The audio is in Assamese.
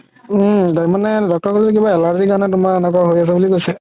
উম মানে doctor ৰে ক'লে কিবা allergy কাৰণে তুমাৰ এনেকুৱা হয় আছে বুলি কৈছে